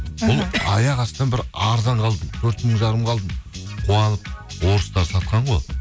бұл аяқастынан бір арзанға алдым төрт мың жарымға алдым қуанып орыстар сатқан ғой